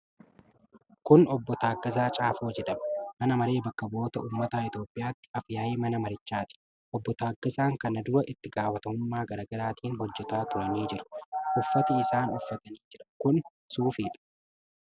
Kun Obbo Taaggasaa Caafoo jedhama. Mana Maree Bakka Bu'oota Ummataa Itoophiyaatti Af-yaa'ii Mana Marichaati. Obbo Taaggasaan kana dura itti gaafatamummaa garaa garaatiin hoojataa turanii jiru. Uffati isaan uffatanii jiran kun suufidha.